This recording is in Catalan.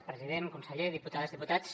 president conseller diputades diputats